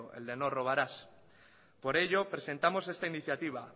el de no robarás por ello presentamos esta iniciativa